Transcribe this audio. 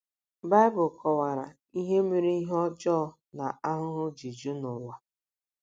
Baịbụl kọwara ihe mere ihe ọjọọ na ahụhụ ji ju n’ụwa.